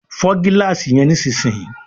Fọ gilaasi yen nísìsiyìí!